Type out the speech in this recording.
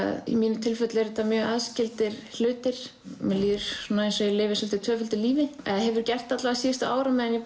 í mínu tilfelli eru þetta mjög aðskildir hlutir mér líður eins og ég lifi svolítið tvöföldu lífi eða hefur gert síðustu ár á meðan ég